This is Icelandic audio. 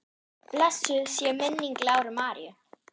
Blessuð sé minning Láru Maríu.